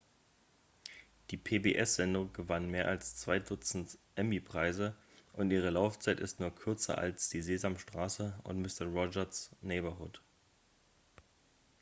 die pbs-sendung gewann mehr als zwei dutzend emmy-preise und ihre laufzeit ist nur kürzer als die sesamstraße und mister roger's neighborhood